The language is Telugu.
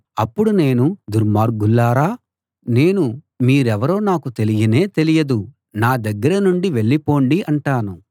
అప్పుడు నేను దుర్మార్గులారా నేను మీరెవరో నాకు తెలియనే తెలియదు నా దగ్గర నుండి వెళ్ళిపొండి అంటాను